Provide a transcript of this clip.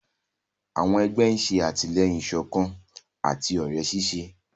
Àwọn egbé ṣe atilẹyin ìsọkan àti òré ṣiṣẹ.